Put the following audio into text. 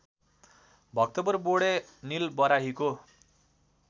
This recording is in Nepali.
भक्तपुर बोडे निलबराहीको